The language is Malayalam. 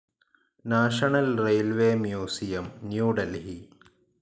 national railways museum, new Delhi